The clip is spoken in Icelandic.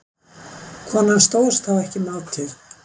konan stóðst þá ekki mátið